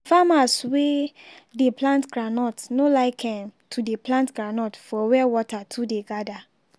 farmers wey dey plant groundnut no like um to dey plant groundnut for where water too dey gather.